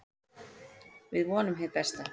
Við vonum hið besta.